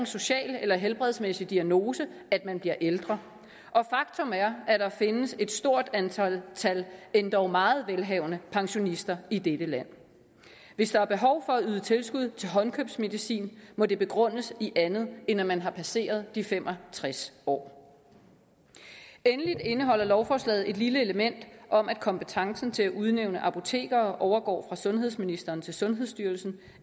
social eller helbredsmæssig diagnose at man bliver ældre og faktum er at der findes et stort antal endog meget velhavende pensionister i dette land hvis der er behov for at yde tilskud til håndkøbsmedicin må det begrundes i andet end at man har passeret de fem og tres år endelig indeholder lovforslaget et lille element om at kompetencen til at udnævne apotekere overgår fra sundhedsministeren til sundhedsstyrelsen